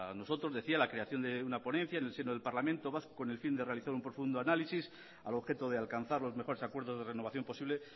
nosotros decía la creación de una ponencia en el seno del parlamento vasco con el fin de realizar un profundo análisis al objeto de alcanzar los mejores acuerdos de renovación posible